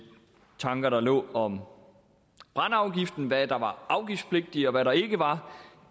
tanker der lå om brændeafgiften med hvad der var afgiftspligtigt og hvad der ikke var